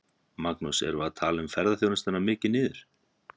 Magnús: Erum við að tala ferðaþjónustuna mikið niður?